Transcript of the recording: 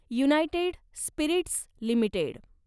United Spirits limited